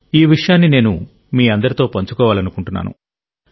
ఈ విషయాన్ని నేను మీ అందరితో పంచుకోవాలనుకుంటున్నాను